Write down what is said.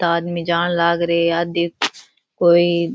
आदमी जान लागरो है आदमी कोई --